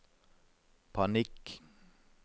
panikk